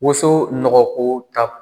Woso nɔgɔko ta